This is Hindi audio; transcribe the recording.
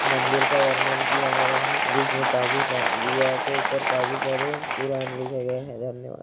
मंदिर का वर्णन किया गया है जिसमें काफी सारे दीवार के ऊपर काफी सारे पुराण लिखे गए हैं धन्यवाद ।